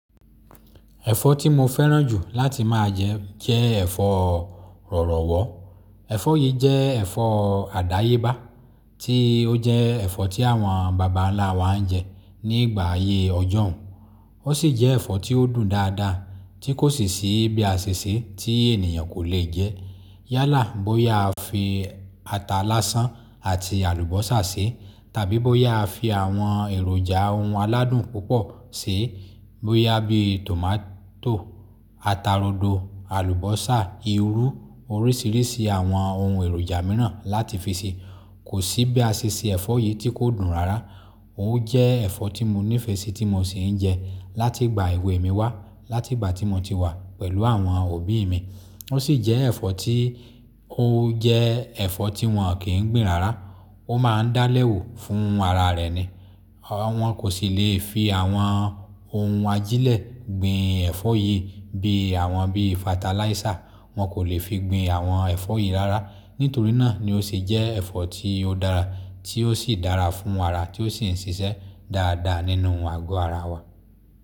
Ẹ̀fọ́ tí mo fẹ́ràn jù láti máa jẹ jẹ́ ẹ̀fọ́ rọ̀rọ̀wọ́. Ẹ̀fọ́ yìí jẹ́ ẹ̀fọ́ àdáyébá tí ó jẹ́ ẹ̀fọ́ tí àwọn bàbá ńlá wa ń jẹ ní ìgbà ayé ọjọ́un, ó sì jẹ́ ẹ̀fọ́ tí ó dùn dáadáa tí kò sí bí a ṣe ṣe tí ènìyàn kò le jẹ. Yálà bóyá a fi ata laáṣán àti àlùbọ́sà ṣe, tàbí bóyá a fi àwọn èròjà ohun aládùn púpọ̀ ṣi, bóyá bí tòmátò, ata rodo, àlùbọ́sà, irú, oríṣiríṣi àwọn ohun èròjà mìíràn láti fi ṣe, kò sí bí a ṣe se ẹ̀fọ́ yìí tí kò dùn rárá. Ó jẹ́ ẹ̀fọ́ tí mo nífẹ̀ẹ́ sí tí mo sì ń jẹ láti ìgbà èwe mi wá, láti ìgbà tí mo ti wà pẹ̀lú àwọn òbí mi. Ó sì jẹ́ ẹ̀fọ́ tí ó jẹ́ ẹ̀fọ́ tí wọn kì í gbìn rárá. Ó máa ń dálẹ̀wò fún ara rẹ̀ ni. Àwọn kò sì le fi àwọn ohun ajílẹ̀ gbìn ẹ̀fọ́ yìí bí àwọn bíi fatalaísà wọ́n kò le fi gbìn àwọn ẹ̀fọ́ yìí rárá. Nítorí náà ni ó sì jẹ́ ẹ̀fọ́ tí ó dára tí ó sì dára fún ara tí ó sì ń ṣiṣẹ́ dáadáa nínú àgọ́ ara wa.